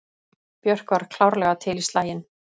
Björk var klárlega til í slaginn.